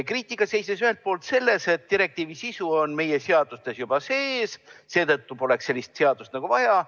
Kriitika seisnes ühelt poolt selles, et direktiivi sisu on meie seadustes juba sees, mistõttu poleks sellist seadust nagu vaja.